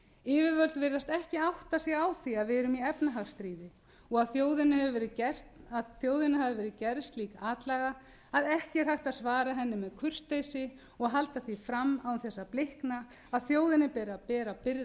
yfirvöld virðast ekki átta sig á því að við erum í efnahagsstríði og að þjóðinni hafi verið gerð slík atlaga að ekki er hægt að svara henni með kurteisi og halda því fram án þess að blikna að þjóðinni beri að bera byrðar